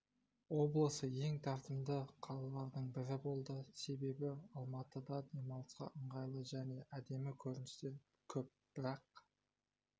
облысы ең тартымды қалалардың бірі болды себебі алматыда демалысқа ыңғайлы және әдемі көріністер көп бірақ